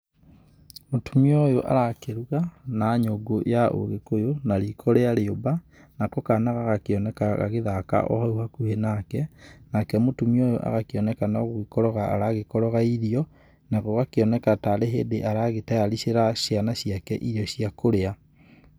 Mũtumia ũyũ arakĩruga na nyũngũ ya ũgĩkũyũ na riiko rĩa rĩũmba nako kana gagakĩoneka gagĩthaka o hau hakuhĩ nake, nake mũtumia ũyũ agakĩoneka no gũgĩkoroga aragĩkoroga irio, na gũgakĩoneka tarĩ hĩndĩ aragĩtayaricira ciana ciake irio cia kũrĩa.